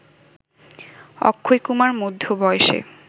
অক্ষয়কুমার মধ্য বয়সে